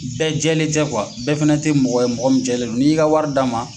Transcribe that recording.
Bɛɛ jɛlen tɛ bɛɛ fɛnɛ tɛ mɔgɔ ye mɔgɔ min cɛ len do. N'i ka wari d'a ma.